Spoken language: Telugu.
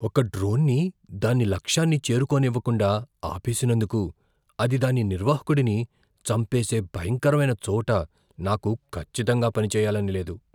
ఒక డ్రోన్ని దాని లక్ష్యాన్ని చేరుకోనివ్వకుండా ఆపేసినందుకు అది దాని నిర్వాహకుడిని చంపేసే భయంకరమైన చోట నాకు ఖచ్చితంగా పనిచేయాలని లేదు.